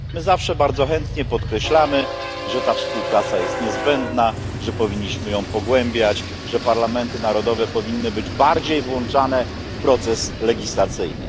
My zawsze bardzo chętnie podkreślamy, że ta współpraca jest niezbędna, że powinniśmy ją pogłębiać, że parlamenty narodowe powinny być bardziej włączane w proces legislacyjny.